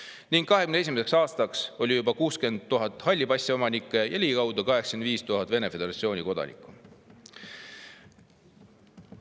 2021. aastaks oli juba 60 000 halli passi omanikku ja ligikaudu 85 000 Vene föderatsiooni kodanikku.